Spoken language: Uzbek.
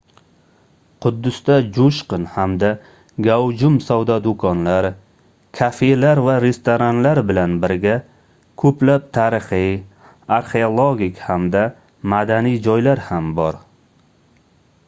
quddusda joʻshqin hamda gavjum savdo doʻkonlar kafelar va restoranlar bilan birga koʻplab tarixiy arxeologik hamda madaniy joylar ham bor